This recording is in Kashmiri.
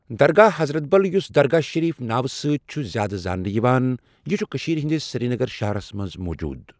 درگاه حضرت بل یُس دَرگاہ شریٖف ناوٕ سۭتی چُھ زیادٕ زانٛنہٕ یِوان، یہِ چُھ کٔشیٖر ہٕنٛدس سِریٖنَگر شَہرَس منٛز موٗجوٗد